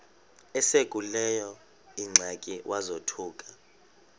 esekuleyo ingxaki wazothuka